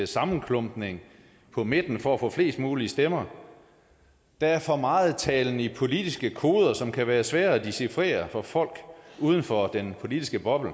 sammenklumpning på midten for at få flest mulige stemmer der er for meget talen i politiske koder som kan være svære at dechifrere for folk uden for den politiske boble